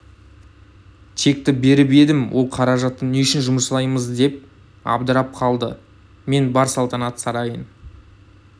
чекті беріп едім ол қаражатты не үшін жұмсаймыз деп абдырап қалды мен бар салтанат сарайын